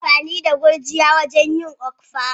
Ana amfani da gurjiya wajen yin okpa.